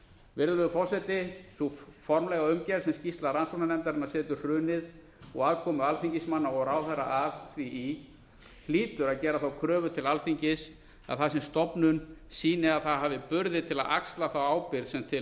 virðulegur forseti sú formlega umgerð sem skýrsla rannsóknarnefndarinnar setur hrunið og aðkomu alþingismanna á ráðherra að því í hlýtur að gera kröfu til alþingis að það sem stofnun sýni að það hafi burði til að axla ábyrgðina sem til